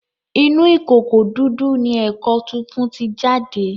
Inú ìkòkò didu ní èkó fífún tí jáde.